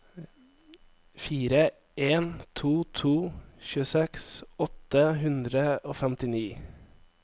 fire en to to tjueseks åtte hundre og femtini